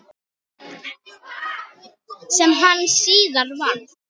Sem hann síðar varð.